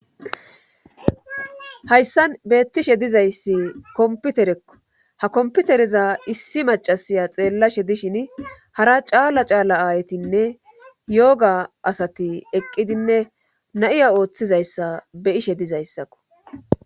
hayssan beettishe dizayssi komputerekko ha komputereza issi macasiya xeellashe dishini hara caala caala aaytinne yooga asati eqqidinne na7iya ooththizayssa be7ishe dizayssakko